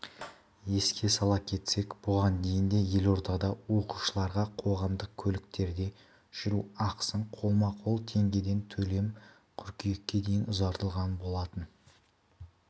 еске сала кетсек бұған дейін де елордада оқушыларға қоғамдық көліктерде жүру ақысын қолма-қол теңгеден төлеу қыркүйекке дейін ұзартылған болатын